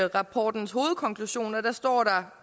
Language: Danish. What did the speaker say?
rapportens hovedkonklusioner står der